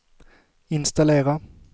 installera